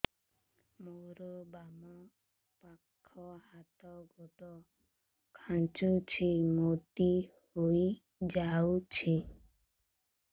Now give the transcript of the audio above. ମୋର ବାମ ପାଖ ହାତ ଗୋଡ ଖାଁଚୁଛି ମୁଡି ହେଇ ଯାଉଛି